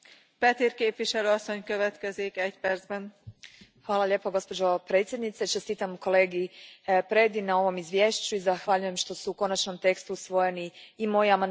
Gospođo predsjednice, Čestitam kolegi Predi na ovom izvješću i zahvaljujem što su u konačnom tekstu usvojeni i moji amandmani koje sam podnijela s kolegama iz Kluba zastupnika Europske pučke stranke.